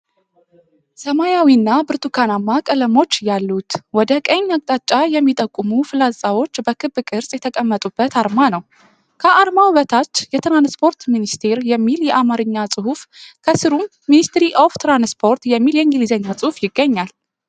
ሰማያዊና ብርቱካናማ ቀለሞች ያሉት፣ ወደ ቀኝ አቅጣጫ የሚጠቁሙ ፍላጻዎች በክብ ቅርጽ የተቀመጡበት አርማ ነው። ከአርማው በታች "የትራንስፖርት ሚኒስቴር" የሚል የአማርኛ ጽሑፍ፣ ከስሩም "MINISTRY OF TRANSPORT" የሚል የእንግሊዝኛ ጽሑፍ ይገኛል።